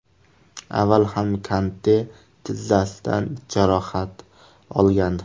Avval ham Kante tizzasidan jarohat olgandi.